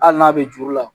Hali n'a bɛ juru la